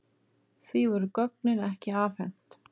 Því voru gögnin ekki afhent.